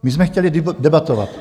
My jsme chtěli debatovat.